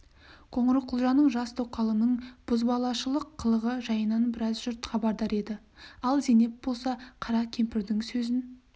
қоңырқұлжаның жас тоқалының бозбалашылық қылығы жайынан біраз жұрт хабардар еді ал зейнеп болса қара кемпірдің сөзін